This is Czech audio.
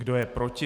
Kdo je proti?